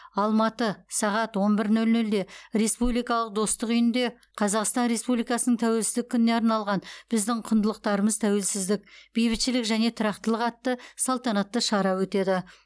алматы сағат он бір нөл нөлде республикалық достық үйінде қазақстан республикасының тәуелсіздік күніне арналған біздің құндылықтарымыз тәуелсіздік бейбітшілік және тұрақтылық атты салтанатты шара өтеді